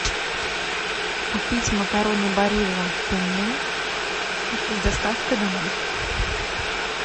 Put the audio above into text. купить макароны барилла пенне с доставкой домой